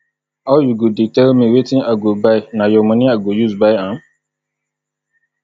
how you go dey tell me wetin i go buy na your money i go use buy am